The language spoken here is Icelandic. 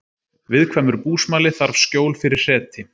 Viðkvæmur búsmali þarf skjól fyrir hreti